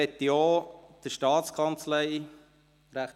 Auch möchte ich der Staatskanzlei herzlich danken.